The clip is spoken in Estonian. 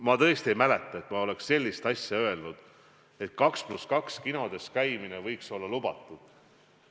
Ma tõesti ei mäleta, et ma oleks öelnud sellist asja, et 2 + 2 kinodes käimine võiks olla lubatud.